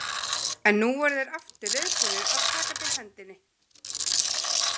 En nú voru þeir aftur reiðubúnir að taka til hendinni.